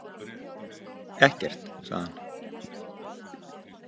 Ekkert, sagði hann.